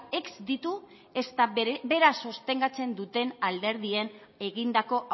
ez ditu ezta bera sostengatzen duten alderdien egindako